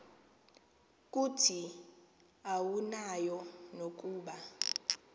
kuthi awunayo nokuba